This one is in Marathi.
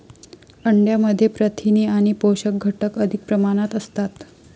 अंड्यामध्ये प्रथिने आणि पोषक घटक अधिक प्रमाणात असतात.